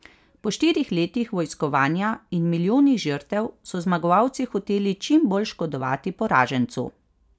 Po štirih letih vojskovanja in milijonih žrtev so zmagovalci hoteli čim bolj škodovati poražencu.